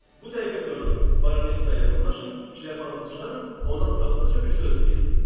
Bu dəqiqə durun, baronessaya yaxınlaşın, şlyapanızı çıxarın, ona fransızca bir söz deyin.